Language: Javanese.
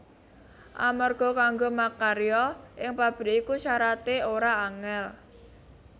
Amarga kanggo makarya ing pabrik iku syarate ora angel